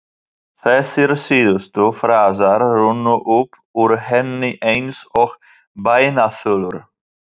Þessir síðustu frasar runnu upp úr henni eins og bænaþulur.